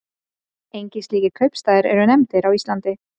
Engir slíkir kaupstaðir eru nefndir á Íslandi.